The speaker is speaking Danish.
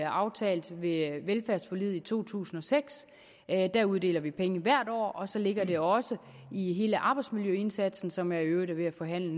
aftalt ved velfærdsforliget to tusind og seks der uddeler vi penge hvert år og så ligger det også i hele arbejdsmiljøindsatsen som jeg i øvrigt er ved at forhandle